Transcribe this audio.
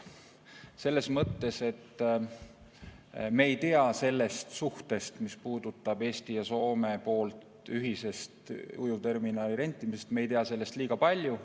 Selles mõttes, et me ei tea sellest, mis puudutab Eesti ja Soome poolt ühist ujuvterminali rentimist, kuigi palju.